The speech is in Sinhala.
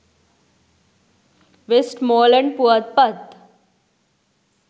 වෙස්ට්මෝලන්ඩ් පුවත්පත්.